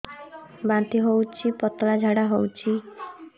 ବାନ୍ତି ହଉଚି ପତଳା ଝାଡା ହଉଚି